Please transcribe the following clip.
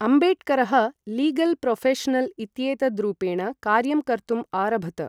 अम्बेडकरः legal professional इत्येतद्रूपेण कार्यं कर्तुम् आरभत।